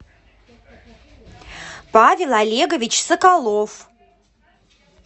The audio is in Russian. павел олегович соколов